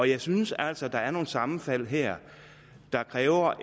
jeg synes altså at der er nogle sammenfald her der kræver